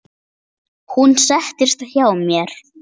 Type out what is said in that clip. Hún settist hjá mér.